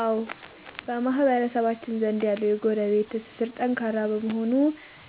አዎ፣ በማህበረሰባችን ዘንድ ያለው የጎረቤት ትስስር ጠንካራ በመሆኑ